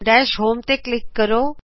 ਦਸ਼ home ਉੱਤੇ click ਕਰੋ